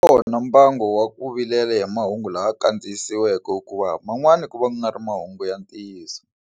Wu kona mbangu wa ku vilela hi mahungu lama kandziyisiweke hikuva man'wani ku va ku nga ri mahungu ya ntiyiso.